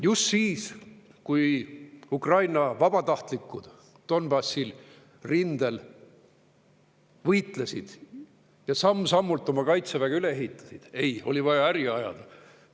Just siis, kui Ukraina vabatahtlikud Donbassi rindel võitlesid ja samm-sammult oma kaitseväge üles ehitasid – ei, oli vaja äri ajada.